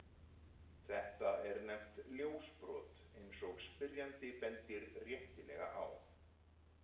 Þetta er nefnt ljósbrot, eins og spyrjandi bendir réttilega á.